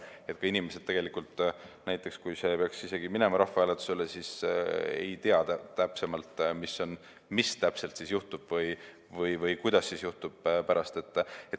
Näiteks, kui see peaks isegi minema rahvahääletusele, siis ei tea, mis täpselt või kuidas juhtub.